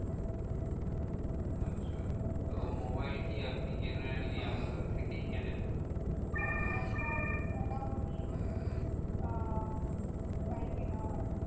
আচ্ছা তো মোবাইল কি আপনি generally আমাজন থেকেই কেনেন? হ্যাঁ এখন মোটামুটি আহ তাই কেনা হয়।